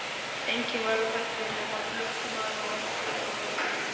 Enginn var á ferli nema blökkumaður ofar í götunni.